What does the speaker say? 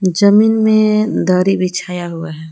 जमीन में दरी बिछाया हुआ है।